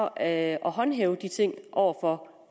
at håndhæve de ting over for